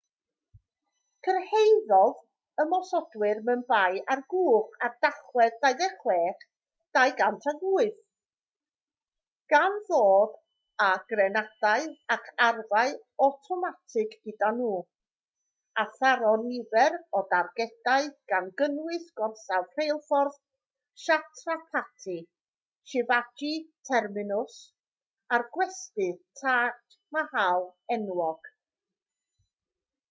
cyrhaeddodd ymosodwyr mumbai ar gwch ar dachwedd 26 2008 gan ddod â grenadau ac arfau awtomatig gyda nhw a tharo nifer o dargedau gan gynnwys gorsaf rheilffordd chhatrapati shivaji terminus a'r gwesty taj mahal enwog